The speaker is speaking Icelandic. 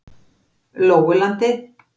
Lóulandi